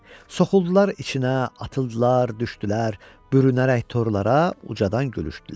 Soxuldular içinə, atıldılar, düşdülər, bürünərək torlara, ucadan gülüşdülər.